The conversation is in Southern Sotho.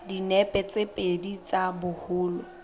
dinepe tse pedi tsa boholo